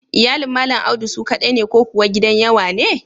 Iyalin Malam Audu su ƙaɗai ne ko kuwa gidan yawa ne?